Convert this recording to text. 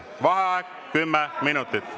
Vaheaeg 10 minutit.